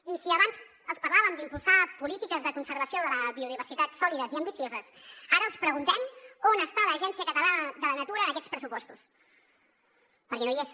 i si abans els parlàvem d’impulsar polítiques de conservació de la biodiversitat sòlides i ambicioses ara els preguntem on està l’agència catalana de la natura en aquests pressupostos perquè no hi és